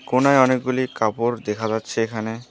কোণায় অনেকগুলি কাপড় দেখা যাচ্ছে এখানে।